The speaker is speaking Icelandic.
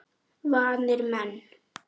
Vanir menn.